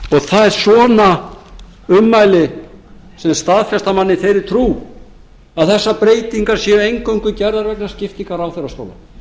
það eru svona ummæli sem staðfesta mann í þeirri trú að þessar breytingar séu eingöngu gerðar vegna skiptingar ráðherrastóla